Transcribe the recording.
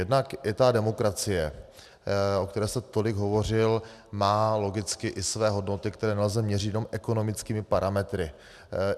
Jednak i ta demokracie, o které jste tolik hovořil, má logicky i své hodnoty, které nelze měřit jenom ekonomickými parametry.